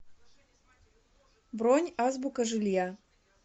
бронь азбука жилья